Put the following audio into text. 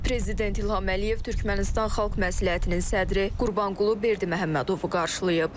Prezident İlham Əliyev Türkmənistan Xalq Məsləhətinin sədri Qurbanqulu Berdiməhəmmədovu qarşılayıb.